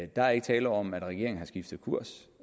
der er ikke tale om at regeringen har skiftet kurs